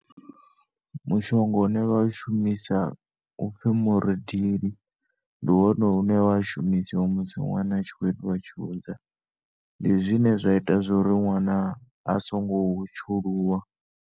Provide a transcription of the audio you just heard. Mushonga une vha u shumisa upfi muridili, ndi wone une wa shumiswa musi nwana atshikho telwa tshiunza ndi zwine zwa ita uri nwana asongo tshuluwa.